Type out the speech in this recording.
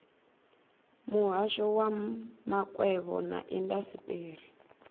muhasho wa makwevho na indasiteri